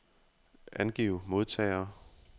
Angiv modtagere.